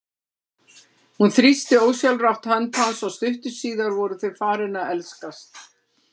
Hún þrýsti ósjálfrátt hönd hans og stuttu síðar voru þau farin að elskast.